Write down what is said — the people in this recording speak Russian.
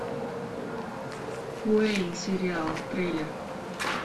уэйн сериал трейлер